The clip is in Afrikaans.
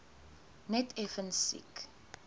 net effens siek